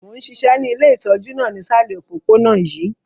Mo n ṣiṣẹ́ ni ile itọju náà nisalẹ̀ opopona yii.